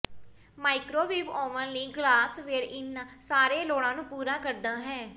microwave oven ਲਈ glassware ਇਹਨਾਂ ਸਾਰੇ ਲੋੜਾਂ ਨੂੰ ਪੂਰਾ ਕਰਦਾ ਹੈ